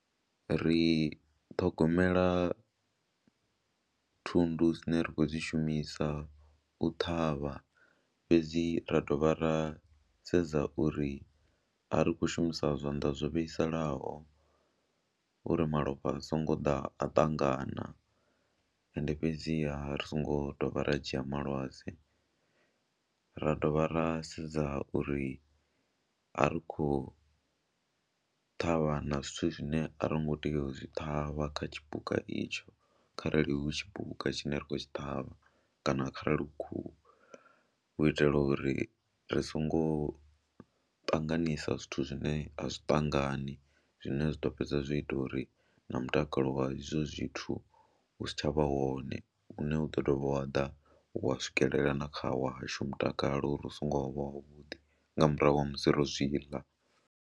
Ri ṱhogomela thundu dzine ra khou dzi shumisa u ṱhavha fhedzi ra dovha ra sedza uri a ri khou shumisa zwanḓa zwo vhaisalaho uri malofha a songo ḓa a ṱangana ende fhedziha ri songo dovha ra dzhia malwadze. Ra dovha ra sedza uri a ri khou ṱhavha na zwithu zwine a ro ngo tea u zwi ṱhavha kha tshipuka itsho kharali hu tshipuka tshine ra khou tshi ṱhavha kana kharali hu khuhu u itela uri ri songo ṱanganisa zwithu zwine a zwi ṱangani zwine zwa ḓo fhedza zwo ita uri na mutakalo wa izwo zwithu u si tsha vha wone, hune u ḓo dovha wa ḓa wa swikelela na kha washu mutakalo uri u songo vha wavhuḓi nga murahu ha musi ro zwi ḽa.